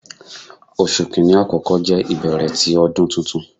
Oṣu Kini akọkọ jẹ ibẹrẹ ti Ọdun Tuntun